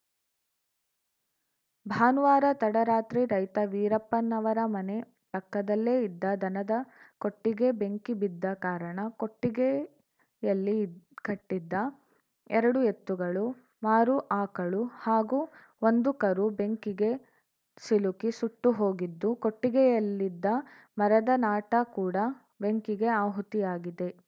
ಭಾನುವಾರ ತಡರಾತ್ರಿ ರೈತ ವೀರಪ್ಪನವರ ಮನೆ ಪಕ್ಕದಲ್ಲೇ ಇದ್ದ ದನದ ಕೊಟ್ಟಿಗೆ ಬೆಂಕಿ ಬಿದ್ದ ಕಾರಣ ಕೊಟ್ಟಿಗೆಯಲ್ಲಿ ಕಟ್ಟಿದ್ದ ಎರಡು ಎತ್ತುಗಳು ಮಾರು ಅಕಳು ಹಾಗೂ ಒಂದು ಕರು ಬೆಂಕಿಗೆ ಸಿಲುಕಿ ಸುಟ್ಟುಹೋಗಿದ್ದು ಕೊಟ್ಟಿಗೆಯಲ್ಲಿದ್ದ ಮರದ ನಾಟಾ ಕೂಡ ಬೆಂಕಿಗೆ ಅಹುತಿಯಾಗಿದೆ